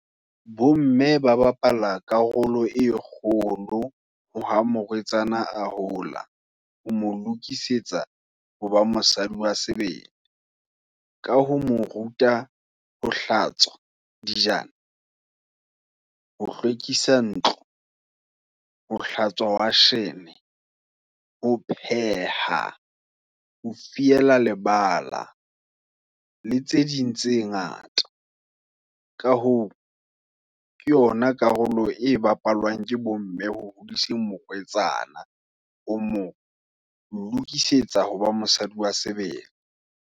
Bo mme ba bapala karolo e kgolo, ho ha morwetsana a hola, ho mo lokisetsa, hoba mosadi wa sebele. Ka ho mo ruta ho hlatswa dijana ho hlwekisa ntlo, ho hlatswa washene, ho pheha, ho fiela lebala, le tse ding tse ngata. Ka hoo, ke yona karolo, e bapalwang ke bo mme, ho hodisa morwetsana, ho mo lokisetsa, hoba mosadi wa sebele.